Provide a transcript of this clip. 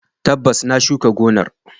Tabbas, na shuka gonar.